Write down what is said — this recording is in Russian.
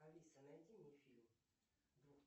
алиса найди мне фильм